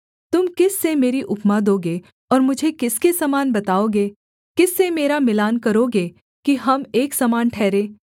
तुम किस से मेरी उपमा दोगे और मुझे किसके समान बताओगे किस से मेरा मिलान करोगे कि हम एक समान ठहरें